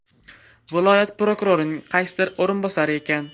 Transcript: Viloyat prokurorining qaysidir o‘rinbosari ekan.